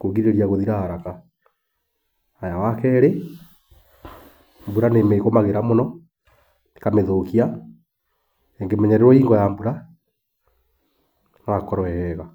kũrigĩrĩria gũthira haraka. Haya wa kerĩ, mbura nĩĩmĩgũmagĩra mũno ĩkamĩthũkia, ĩngĩmenyererwo hingo ya mbura no hakorwo he hega.